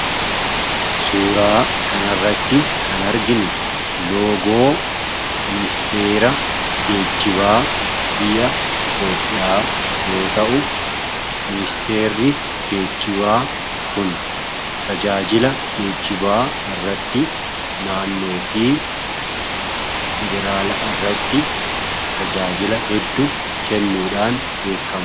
Suuraa kan irratti kan arginu loogoo ministeera geecibaa biyya itoophiyaa yoo ta'u ministeeri geechibaa kun tajaajila geejibaa irratti naannoo fi federaala irratti tajaajila heddu kennuudhaan beekama.